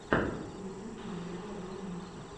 ютюб марьяна ро мультик